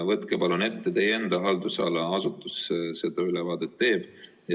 Võtke palun see ette, teie enda haldusala asutus seda ülevaadet teeb.